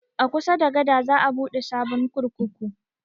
A kusa da gada za a buɗe sabon kurkuku